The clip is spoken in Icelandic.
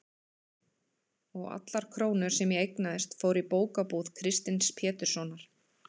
og allar krónur sem ég eignaðist fóru í bókabúð Kristins Péturssonar.